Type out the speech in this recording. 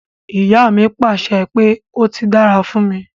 Iya mi pàṣẹ pé 'ó ti dára fún mi'.